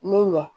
Mun wa